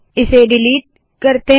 इसे डिलीट करे